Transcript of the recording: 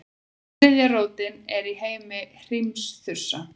þriðja rótin er í heimi hrímþursa